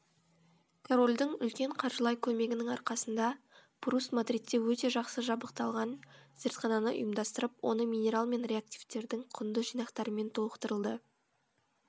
корольдің үлкен қаржылай көмегінің арқасында пруст мадридте өте жақсы жабдықталған зертхананы ұйымдастырып оны минерал мен реактивтердің құнды жинақтарымен толықтырды